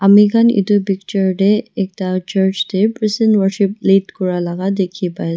Ami khan etu picture tey ekta church tey praise and worship lead kura laga dekhi pai ase.